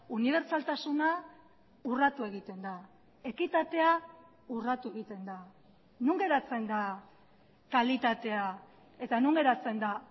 unibertsaltasuna urratu egiten da ekitatea urratu egiten da non geratzen da kalitatea eta non geratzen da